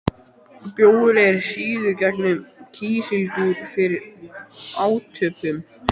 Bjór er síaður gegnum kísilgúr fyrir átöppun.